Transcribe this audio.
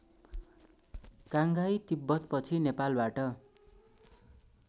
काङ्गहाइ तिब्बतपछि नेपालबाट